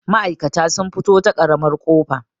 ma'aikata sun fito ta ƙaramar ƙofa